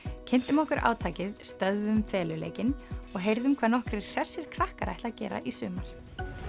kynntum okkur átakið stöðvum feluleikinn og heyrðum hvað nokkrir hressir krakkar ætla að gera í sumar